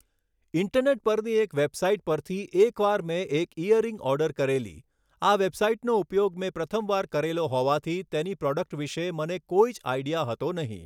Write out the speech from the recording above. internet પરની એક website પરથી એક વાર મેં એક ઇયરિંગ ઓર્ડર કરેલી આ વૅબસાઇટનો ઉપયોગ મેં પ્રથમ વાર કરેલો હોવાથી તેની પ્રોડક્ટ વિશે મને કોઈ જ આઇડિયા હતો નહીં